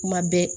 Kuma bɛɛ